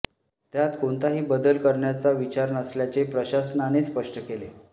त्यात कोणताही बदल करण्याचा विचार नसल्याचे प्रशासनाने स्पष्ट केले